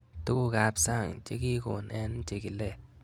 Tuguk ab sang' che kikon eng' chikilet